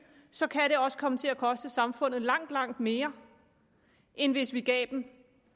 så kan det også komme til at koste samfundet langt langt mere end hvis vi gav dem